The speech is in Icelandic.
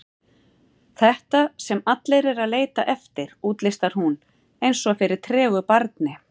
Þetta sem allir eru að leita eftir, útlistar hún eins og fyrir tregu barni.